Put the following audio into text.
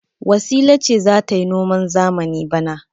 Wasila ce za ta yi noman zamani bana.